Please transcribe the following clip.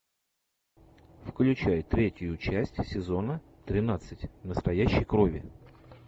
включай третью часть сезона тринадцать настоящей крови